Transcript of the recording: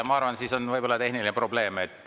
Ma arvan, et võib-olla on tehniline probleem.